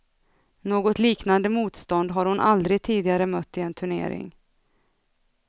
Något liknande motstånd har hon aldrig tidigare mött i en turnering.